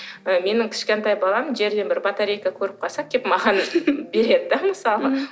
ы менің кішкентай балам жерден бір батарейка көріп қалса келіп маған береді де мысалы мхм